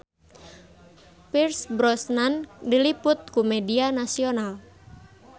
Pierce Brosnan diliput ku media nasional